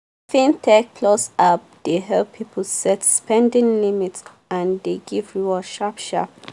fintechplus app dey help people set spending limit and dey give reward sharp-sharp.